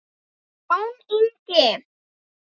Jón Ingi.